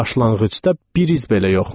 Başlanğıcda bir iz belə yoxmuş.